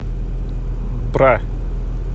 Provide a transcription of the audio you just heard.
бра